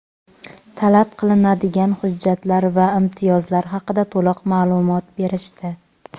talab qilinadigan hujjatlar va imtiyozlar haqida to‘liq ma’lumot berishdi.